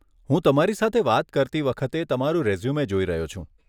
હું તમારી સાથે વાત કરતી વખતે તમારો રેઝ્યુમે જોઈ રહ્યો છું.